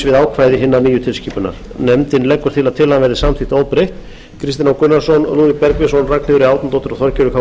við ákvæði hinnar nýju tilskipunar nefndin leggur til að tillagan verði samþykkt óbreytt kristinn h gunnarsson lúðvík bergvinsson ragnheiður e árnadóttir og þorgerður k